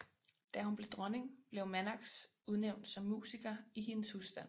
Da hun blev dronning blev Mannox udnævnt som musiker i hendes husstand